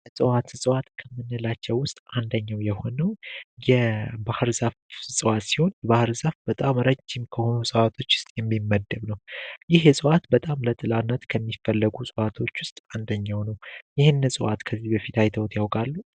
ለፀዋት ስጸዋት ከምንላቸው ውስጥ አንደኛው የሆነው የባህርዛፍ ጸዋት ሲሆን የባህርዛፍ በጣም ረዥም ከሆኑ ሰዋቶች ውስጥ የሚመድብ ነው፡፡ ይህ የሰዋዋት በጣም ለጥላነት ከሚፈለጉ ሰዋቶች ውስጥ አንደኛው ነው ይህን ጸዋዋት ከዚህ በፊት ኃይተውት ያውቃሉ፡፡